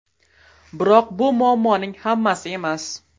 Biroq bu muammoning hammasi emas.